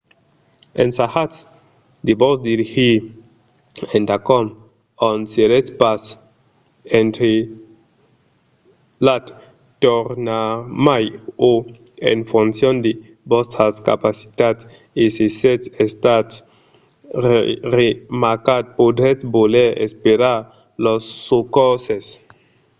ensajatz de vos dirigir endacòm ont seretz pas entrapelat tornarmai o en foncion de vòstras capacitats e se sètz estat remarcat podretz voler esperar los socorses